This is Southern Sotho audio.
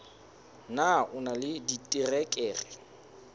na o na le diterekere